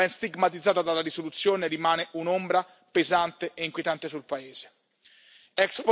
Questa vicenda ben stigmatizzata dalla risoluzione rimane un'ombra pesante e inquietante sul paese.